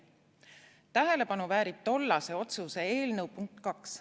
Tähelepanu väärib tollase otsuse eelnõu punkt 2.